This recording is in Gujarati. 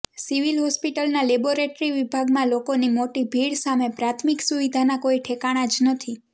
સિવિલ હોસ્પિટલના લેબોરેટરી વિભાગમાં લોકોની મોટી ભીડ સામે પ્રાથમિક સુવિધાના કોઈ ઠેકાણા જ નથી